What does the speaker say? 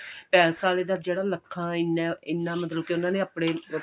palace ਆਲੇ ਦਾ ਜਿਹੜਾ ਲੱਖਾਂ ਇੰਨਾ ਇੰਨਾ ਮਤਲਬ ਕਿ ਉਹਨਾ ਨੇ ਆਪਣੇ